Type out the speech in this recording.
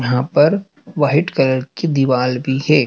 यहां पर white colour की दीवाल भी है।